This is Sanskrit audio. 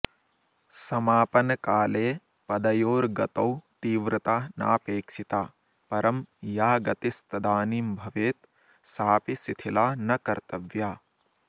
समापनकाले पदयोर्गतौ तीव्रता नापेक्षिता परं या गतिस्तदानीं भवेत् साऽपि शिथिला न कर्तव्या